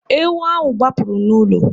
Ewu ahụ gbapụrụ n'ụlọ.